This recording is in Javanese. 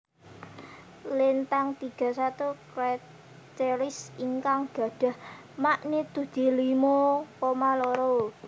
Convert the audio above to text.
Lintang 31 Crateris ingkang gadhah magnitudi limo koma loro